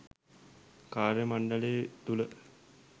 කාර්යමණ්ඩලය තුළ